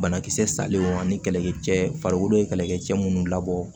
Banakisɛ salenw ani kɛlɛkɛ cɛ farikolo ye kɛlɛkɛ cɛ minnu labɔ